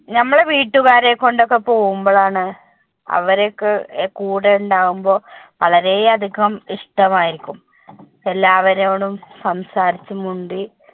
നമ്മുടെ വീട്ടുകാരെ കൊണ്ട് ഒക്കെ പോകുമ്പോൾ ആണ് അവരൊക്കെ കൂടെ ഉണ്ടാകുമ്പോൾ വളരെ അധികം ഇഷ്ടം ആയിരിക്കും, എല്ലാവരോടും സംസാരിച്ചു, മിണ്ടി